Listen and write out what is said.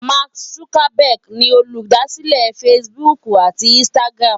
Mark Zuckerberg ni olùdásílẹ̀ Facebook àti Instagram.